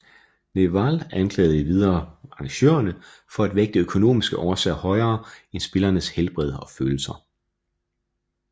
Nehwal anklagede endvidere arrangørerne for at vægte økonomiske årsager højere end spillernes helbred og følelser